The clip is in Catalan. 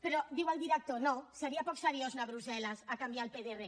però diu el director no seria poc seriós anar a brussel·les a canviar el pdr